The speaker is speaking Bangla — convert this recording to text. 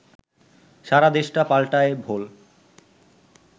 সারা দেশটা পাল্টায় ভোল